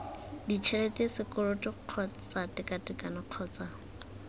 ditšhelete sekoloto kgotsa tekatekano kgotsa